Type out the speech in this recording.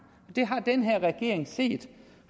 det har den her regering set